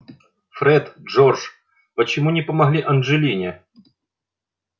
фред джордж почему не помогли анджелине